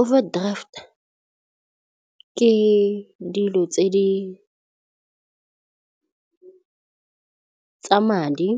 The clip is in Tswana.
Overdraft ke dilo tsa madi